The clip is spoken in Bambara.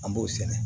An b'o sɛnɛ